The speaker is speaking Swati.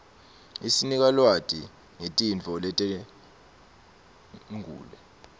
isinika lwati nqetinfo letenqule